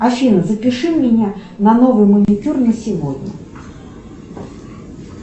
афина запиши меня на новый маникюр на сегодня